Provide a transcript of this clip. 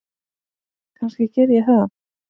Kannski geri ég það.